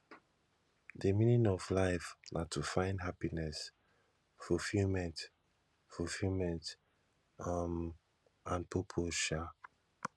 di meaning of life na to find happiness fulfillment fulfillment um and purpose um